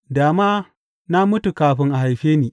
Da ma na mutu kafin a haife ni.